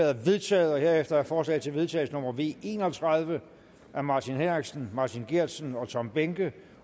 er vedtaget herefter er forslag til vedtagelse nummer v en og tredive af martin henriksen martin geertsen og tom behnke